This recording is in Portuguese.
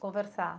Conversar.